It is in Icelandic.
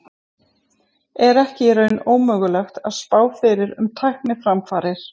Er ekki í raun ómögulegt að spá fyrir um tækniframfarir?